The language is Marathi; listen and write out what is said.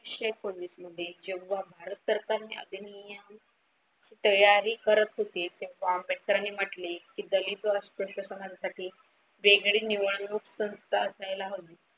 एकोणीसशे एकोणीस मध्ये जेव्हा भारत सरकारने अधिनियम तयारी करत होते तेव्हा आंबेडकरांनी म्हटले कि दलित व अस्पृश्य समाजासाठी वेगळी निवडणूक संस्था असायला हवी.